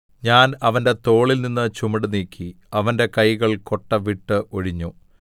ഞാൻ അവന്റെ തോളിൽനിന്ന് ചുമട് നീക്കി അവന്റെ കൈകൾ കൊട്ട വിട്ട് ഒഴിഞ്ഞു